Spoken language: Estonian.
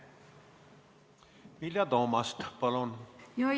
Vilja Toomast, palun!